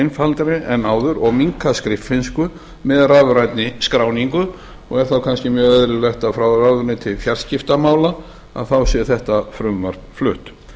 einfaldari en áður og minnka skriffinsku með rafrænni skráningu og er þá kannski mjög eðlilegt að frá ráðuneyti fjarskiptamála þá sé þetta frumvarp flutt